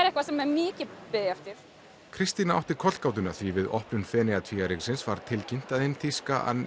eitthvað sem mikið er beðið eftir Kristína átti kollgátuna því við opnun Feneyjatvíæringsins var tilkynnt að hina þýska